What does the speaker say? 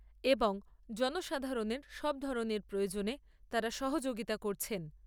এবং জনসাধারণের সব ধরণের প্রয়োজনে তাঁরা সহযোগিতা করছেন।